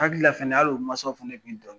Hakilila fana hal'o mansa fana bɛ dɔ